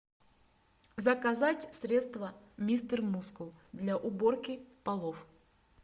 заказать средство мистер мускул для уборки полов